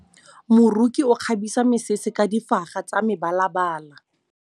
Moroki o kgabisa mesese ka difaga tsa mebalabala.